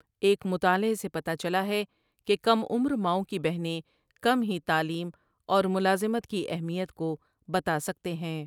ایک مطالعے سے پتہ چلا ہے کہ کم عمر ماؤں کی بہنیں کم ہی تعلیم اور ملازمت کی اہمیت کو بتا سکتے ہیں ۔